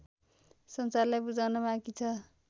संसारलाई बुझाउन बाँकी छ